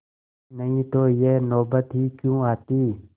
नहीं तो यह नौबत ही क्यों आती